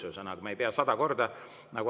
Me ei pea sada korda.